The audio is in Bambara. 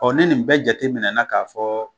Ɔɔ ni nin bɛɛ jate minɛ na k'a fɔ